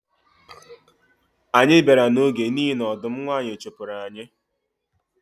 Anyị bịara n’oge n’ihi na ọdụm nwanyi chụpụrụ anyị